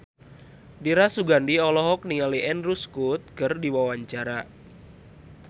Dira Sugandi olohok ningali Andrew Scott keur diwawancara